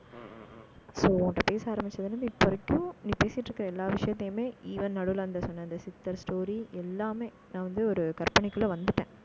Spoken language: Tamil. so உன்கிட்ட பேச ஆரம்பிச்சதுல இருந்து, இப்ப வரைக்கும் நீ பேசிட்டு இருக்கிற எல்லா விஷயத்தையுமே, even நடுவிலே அந்த அந்த சித்தர் story எல்லாமே நான் வந்து, ஒரு கற்பனைக்குள்ளே வந்துட்டேன்